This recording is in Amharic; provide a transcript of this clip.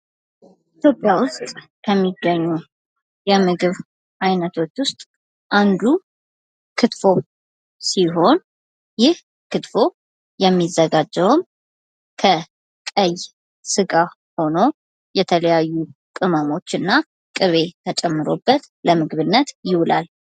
ኢትዮጵያ ውስጥ ከሚገኙ የምግብ አይነቶች ውስጥ አንዱ ክትፎ ሲሆን ይህ ክትፎ የሚዘጋጀውም ከቀይ ስጋ ሆኖ የተለያዩ ቅመሞች እና ቅቤ ተጨምሮበት ለምግብነት ይውላል።